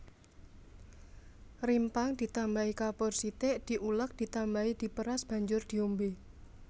Rimpang ditambahi kapur sithik diulek ditambahi diperas banjur diombe